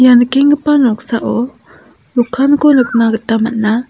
ia nikenggipa noksao dokanko nikna gita man·a.